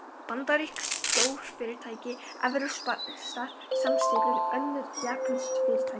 Bandarísk stórfyrirtæki, evrópskar samsteypur, önnur japönsk fyrirtæki.